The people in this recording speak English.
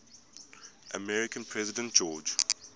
american president george